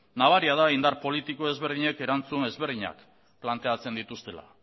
nabaria da indar politiko desberdinek erantzun desberdinak planteatzen dituztela